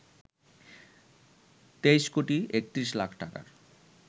২৩ কোটি ৩১ লাখ টাকার